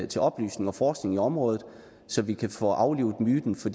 til oplysning og forskning i området så vi kan få aflivet myten for